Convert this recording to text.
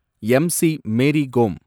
MC. Mary Kom